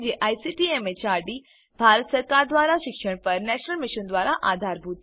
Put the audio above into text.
જે ICT MHRD Bharat સરકાર દ્વારા શિક્ષણ પર રાષ્ટ્રીય મીશન મારફતે આધાર અપાયેલ છે